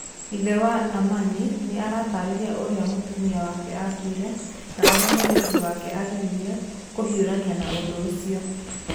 Ithe wa Amina nĩ arataarĩria ũrĩa mũtumia wake aakuire na ũrĩa mũirĩtu wake aagerire kũhiũrania na ũndũ ũcio.